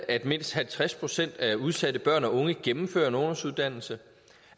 at mindst halvtreds procent af de udsatte børn og unge gennemfører en ungdomsuddannelse